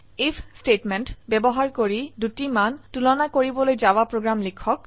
if statement ব্যবহাৰ কৰি দুটি মান তুলনা কৰিবলৈ জাভা প্ৰোগ্ৰাম লিখক